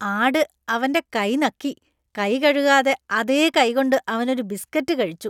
ആട് അവന്‍റെ കൈ നക്കി, കൈകഴുകാതെ അതേ കൈകൊണ്ട് അവനൊരു ബിസ്കറ്റ് കഴിച്ചു.